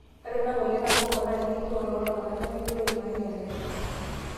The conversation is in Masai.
ore ena moyian oorbonko naa kelioo too ltunganak lemeyioloi ilmareita lenye